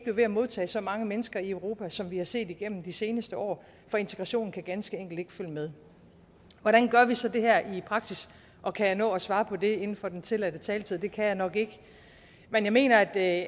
ved med at modtage så mange mennesker i europa som vi har set igennem de seneste år for integrationen kan ganske enkelt ikke følge med hvordan gør vi så det her i praksis og kan jeg nå at svare på det inden for den tilladte taletid det kan jeg nok ikke men jeg mener at